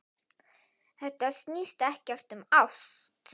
Þetta snýst ekkert um ást.